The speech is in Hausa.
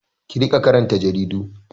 Ki riƙa karanta jaridu!